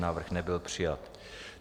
Návrh nebyl přijat.